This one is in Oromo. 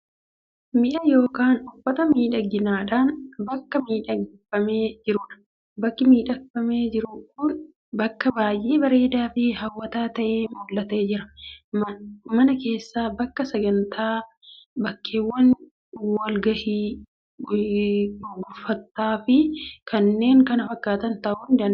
Mi'a yookaan uffata miidhagaadhaan bakka miidhagfamee jirudha. Bakki miidhagfamee jiru kun bakka baay'ee bareedaa fi hawwataa ta'ee mul'atee jira. Mana keessa, bakka sagantaa, bakkeewwan wal gahii gurguffootaa fi kanneen kana fakkaatan ta'uu ni danda’a.